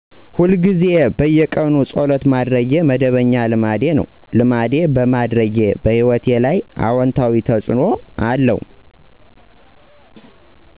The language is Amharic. ለረጅም ጊዜ በየቀኑ ፀሎት ማድረግ መደበኛ ልማዴ ነው። ልማዴ በማድረግ ሂወቴ ላይ አውታዊ ተፅዕኖ አለዉ።